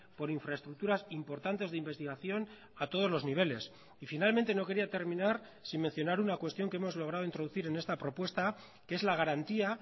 por infraestructuras importantes de investigación a todos los niveles y finalmente no quería terminar sin mencionar una cuestión que hemos logrado introducir en esta propuesta que es la garantía